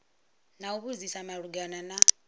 na u vhudzisa malugana na